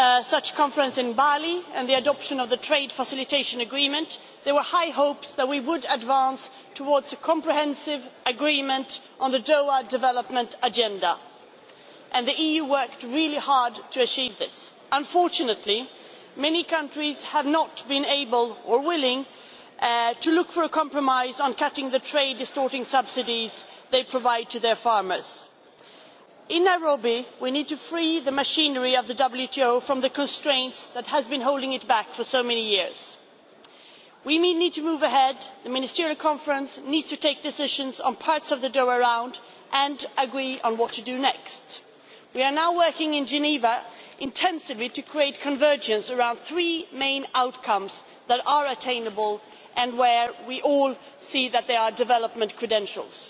such conference in Bali and the adoption of the Trade Facilitation Agreement, there were high hopes that we would advance towards a comprehensive agreement on the Doha Development Agenda, and the EU worked really hard to achieve this. Unfortunately, many countries have not been able or willing to look for a compromise on cutting the trade distorting subsidies they provide to their farmers. In Nairobi we need to free the machinery of the WTO from the constraints that have been holding it back for so many years. We need to move ahead. The Ministerial Conference needs to take decisions on parts of the Doha Round and agree on what to do next. We are now working in Geneva intensively to create convergence around three main outcomes that are attainable and where we all see that there are development credentials.